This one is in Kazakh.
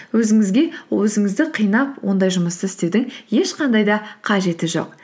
өзіңізге өзіңізді қинап ондай жұмысты істеудің ешқандай да қажеті жоқ